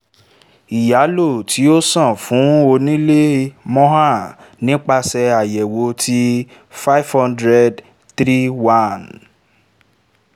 ìyálò tí ó san fún onílé 'mohan' nipasẹ àyẹ̀wò tí five hundred three one